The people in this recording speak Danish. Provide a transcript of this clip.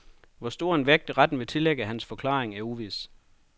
Hvor stor en vægt, retten vil tillægge hans forklaring, er uvis.